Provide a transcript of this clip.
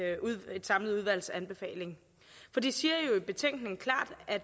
samlet udvalgs anbefaling for de siger jo i betænkningen klart at